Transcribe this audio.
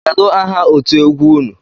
Kedụ aha otú egwu ụnụ?